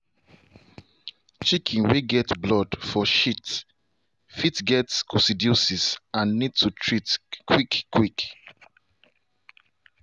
chicken way get blood for shit fit get coccidiosis and need to treat quick quick.